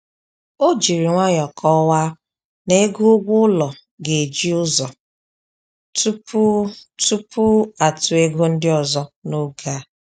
O jiri nwayọ kọwaa n'ego ụgwọ ụlọ ga-eji ụzọ tupu tupu atụọ ego ndị ọzọ n'oge a